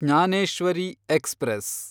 Jnaneshwari express